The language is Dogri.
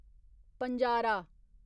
पंजारा